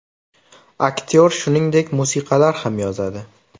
Aktyor shuningdek, musiqalar ham yozadi.